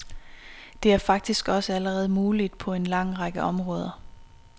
Det er faktisk også allerede muligt på en lang række områder.